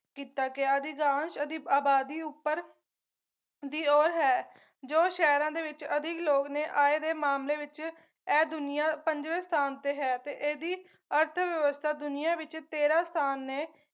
ਕੀਤਾ ਗਿਆ ਅਧਿਦਾਨ ਇਹਦੀ ਅਬਾਦੀ ਉੱਪਰ ਦੀ ਔਰ ਹੈ ਜੋ ਸ਼ਹਿਰਾਂ ਦੇ ਵਿੱਚ ਅਧਿਕ ਲੋਕ ਨੇ ਆਏ ਦੇ ਮਾਮਲੇ ਵਿੱਚ ਇਹ ਦੁਨੀਆਂ ਪੰਜਵੇ ਸਥਾਨ ਤੇ ਹੈ ਤੇ ਇਹਦੀ ਅਰਥ ਵਿਵਸਥਾ ਦੁਨੀਆਂ ਵਿੱਚ ਤੇਰਾਂ ਸਥਾਨ ਨੇ